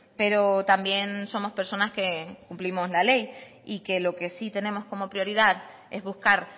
pero también somos personas que cumplimos la ley y que lo que sí tenemos como prioridad es buscar